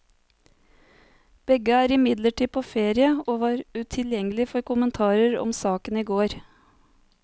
Begge er imidlertid på ferie, og var utilgjengelige for kommentarer om saken i går.